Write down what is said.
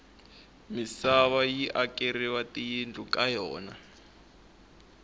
misava yi akeriwa tiyindlu ka yona